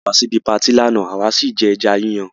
Wọ́n pé wá síbi patí lánàá àwa sì jẹ ẹja Yíyan